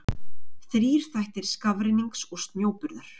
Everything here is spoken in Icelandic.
þrír þættir skafrennings og snjóburðar